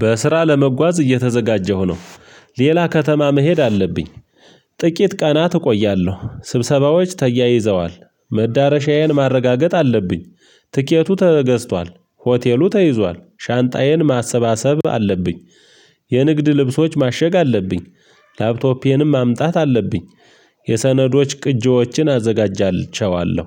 በስራ ለመጓዝ እየተዘጋጀሁ ነው። ሌላ ከተማ መሄድ አለብኝ። ጥቂት ቀናት እቆያለሁ። ስብሰባዎች ተያይዘዋል። መዳረሻዬን ማረጋገጥ አለብኝ። ትኬቱ ተገዝቷል፤ ሆቴሉ ተይዟል፤ ሻንጣዬን ማሰባሰብ አለብኝ። የንግድ ልብሶች ማሸግ አለብኝ። ላፕቶፔንም ማምጣት አለብኝ። የሰነዶች ቅጂዎችን አዘጋጃቸዋለሁ።